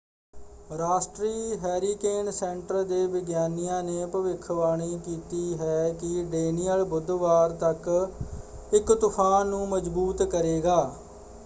ਰਾਸ਼ਟਰੀ hurricane centre ਦੇ ਵਿਗਿਆਨੀਆਂ ਨੇ ਭਵਿੱਖਬਾਣੀ ਕੀਤੀ ਹੈ ਕਿ ਡੈਨੀਅਲ ਬੁੱਧਵਾਰ ਤੱਕ ਇੱਕ ਤੂਫਾਨ ਨੂੰ ਮਜ਼ਬੂਤ ਕਰੇਗਾ।